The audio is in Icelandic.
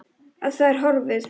Að það er horfið!